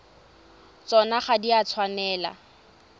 tsona ga di a tshwanela